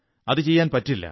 അതു ചെയ്യാൻ പറ്റില്ല